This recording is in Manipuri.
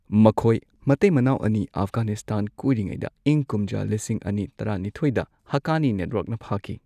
ꯃꯈꯣꯢ ꯃꯇꯩ ꯃꯅꯥꯎ ꯑꯅꯤ ꯑꯐꯒꯥꯅꯤꯁꯇꯥꯟ ꯀꯣꯢꯔꯤꯉꯩꯗ ꯏꯪ ꯀꯨꯝꯖꯥ ꯂꯤꯁꯤꯡ ꯑꯅꯤ ꯇꯔꯥꯅꯤꯊꯣꯏꯗ ꯍꯛꯀꯥꯅꯤ ꯅꯦꯠꯋꯥꯛꯅ ꯐꯥꯈꯤ꯫